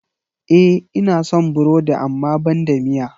E, ina son burodi amma banda miya.